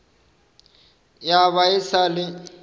ya ba e sa le